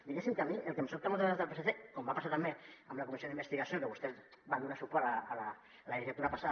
diguéssim que a mi el que em sobta moltes vegades del psc com va passar també amb la comissió d’investigació que vostès hi van donar suport la legislatura passada